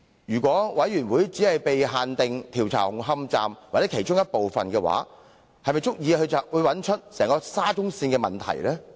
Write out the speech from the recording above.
如調查委員會的調查範圍只限於紅磡站或其中的一部分，是否足以識別出沙中線所有問題？